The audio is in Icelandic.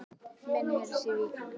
Minna heyrist í Víkingum